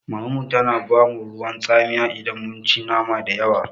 Mamanmu tana ba mu ruwan tsamiya idan mun ci nama dayawa.